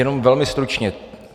Jenom velmi stručně.